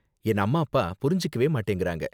என் அம்மா அப்பா புரிஞ்சுக்கவே மாட்டேங்குறாங்க.